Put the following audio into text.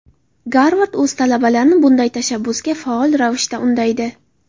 Garvard o‘z talabalarini bunday tashabbusga faol ravishda undaydi.